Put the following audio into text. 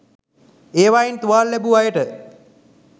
ඒවයින් තුවාල ලැබූ අයට